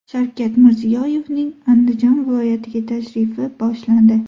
Shavkat Mirziyoyevning Andijon viloyatiga tashrifi boshlandi.